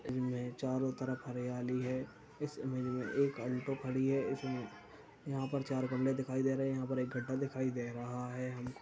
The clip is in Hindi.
इनमे चारों तरफ हरियाली है। इस इमेज मे एक अल्टो खड़ी है। इस इमे यहाँं पर चार गमले दिखाई दे रहे यहाँं एक गड्ढा दिखाई दे रहा है हमको।